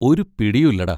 ഒരു പിടിയും ഇല്ലെടാ.